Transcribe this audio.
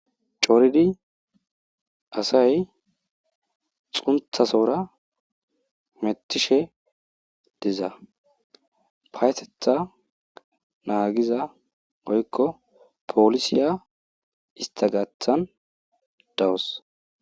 Coridi asay xuntta sohora hemettishe diza payathetha naagiza woykko poolisiya istha gaathan dawus.